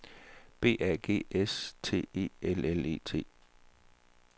B A G S T E L L E T